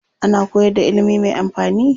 Ana koyar da ilimi mai amfani.